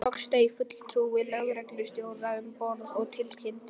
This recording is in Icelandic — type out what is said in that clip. Loks steig fulltrúi lögreglustjóra um borð og tilkynnti